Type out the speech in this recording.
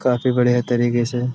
काफी बढ़िया तरीके से --